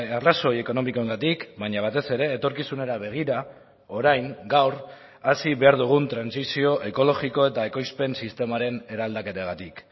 arrazoi ekonomikoengatik baina batez ere etorkizunera begira orain gaur hasi behar dugun trantsizio ekologiko eta ekoizpen sistemaren eraldaketagatik